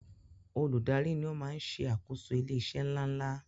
Olùdarí ni o maá n ṣe àkóso ilé iṣé ńláńlá